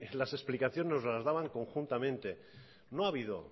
las explicaciones nos las daban conjuntamente no ha habido